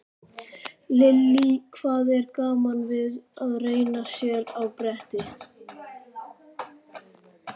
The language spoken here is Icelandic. Lillý: Hvað er gaman við að renna sér á bretti?